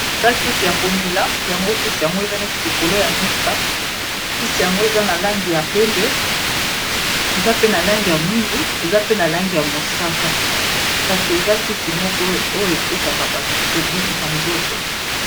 eza kisi ya komela yango kisi yango eza neti likolo ya misa kisi yango eza na langi ya pembe eza pe na langi ya mwindu eza pe na langi ya mosaka kasi eza kisi moko oyo epesaka bato kobikisa nzoto